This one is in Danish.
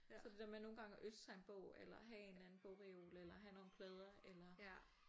Så det der med nogle gange at ønske sig en bog eller have en eller anden bogreol eller have nogle plader eller